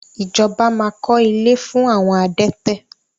Ijọba máa kọ́ ilé fún àwọn adẹ́tẹ̀.